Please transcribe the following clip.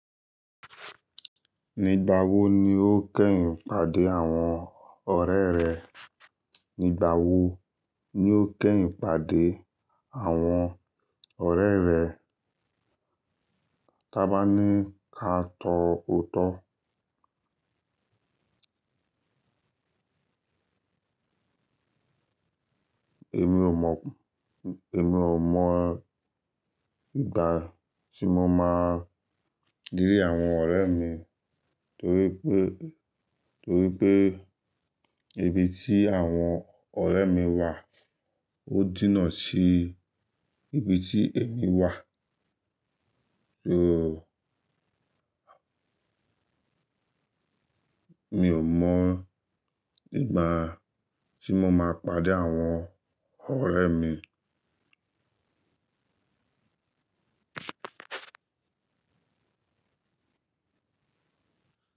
Ígbà wo ni o kẹ́yin pàdé àwọn ọ̀rẹ́ rẹ? Nígbà wo ni o kẹ́rùn pàdé àwọn ọ̀rẹ́ rẹ? Tábà ní káà tọ́ ọ́tọ́. Èmi ò mọ̀, èmi ò mọ̀ ìgbà tí mo máa rí àwọn ọ̀rẹ́ mi torí pé, torí pé ibi tí àwọn ọ̀rẹ́ mi wà ó jìnà sí ibi tí èmi wà. So mi ò mọ̀ ìgbà tí mo máa pàdé àwọn ọ̀rẹ́ mi.